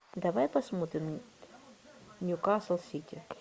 давай посмотрим ньюкасл сити